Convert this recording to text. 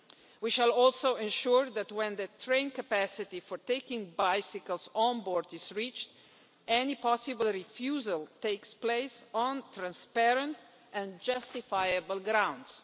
We shall also ensure that when train capacity for taking bicycles on board is reached, any possible refusal takes place on transparent and justifiable grounds.